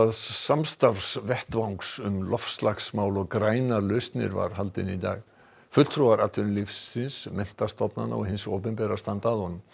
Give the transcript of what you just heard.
samstarfsvettvangs um loftslagsmál og grænar lausnir var haldinn í dag fulltrúar atvinnulífsins menntastofnana og hins opinbera standa að honum